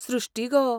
सृष्टी गो!